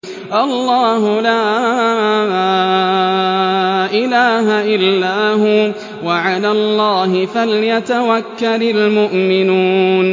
اللَّهُ لَا إِلَٰهَ إِلَّا هُوَ ۚ وَعَلَى اللَّهِ فَلْيَتَوَكَّلِ الْمُؤْمِنُونَ